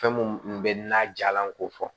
Fɛn mun bɛ n'a jalanko fɔ